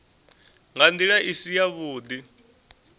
nga ndila i si yavhudi